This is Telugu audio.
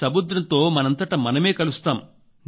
సముద్రంతో మనంతట మనమే కలుస్తాం